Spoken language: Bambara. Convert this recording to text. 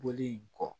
Bɔli in kɔ